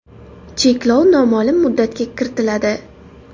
Cheklov noma’lum muddatga kiritiladi.